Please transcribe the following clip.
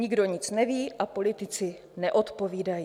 Nikdo nic neví a politici neodpovídají.